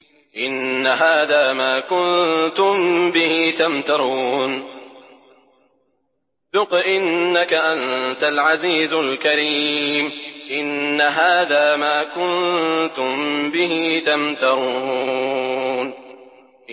إِنَّ هَٰذَا مَا كُنتُم بِهِ تَمْتَرُونَ